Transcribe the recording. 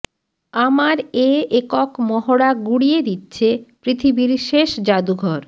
আমার এ একক মহড়া গুড়িয়ে দিচ্ছে পৃথিবীর শেষ জাদুঘর